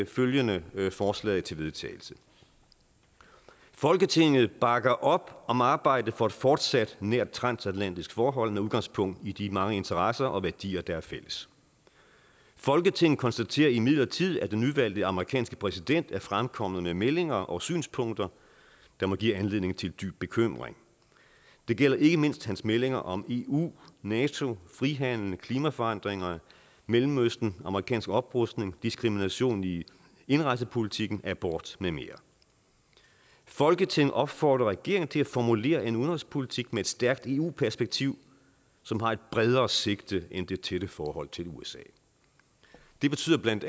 følgende forslag til vedtagelse folketinget bakker op om arbejdet for et fortsat nært transatlantisk forhold med udgangspunkt i de mange interesser og værdier der er fælles folketinget konstaterer imidlertid at den nyvalgte amerikanske præsident er fremkommet med meldinger og synspunkter der må give anledning til dyb bekymring det gælder ikke mindst hans meldinger om eu nato frihandel klimaforandringerne mellemøsten amerikansk oprustning diskrimination i indrejsepolitikken abort med mere folketinget opfordrer regeringen til at formulere en udenrigspolitik med et stærkt eu perspektiv som har et bredere sigte end det tætte forhold til usa det betyder bla